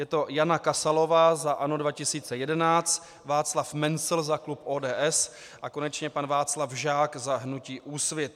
Je to Jana Kasalová za ANO 2011, Václav Mencl za klub ODS a konečně pan Václav Žák za hnutí Úsvit.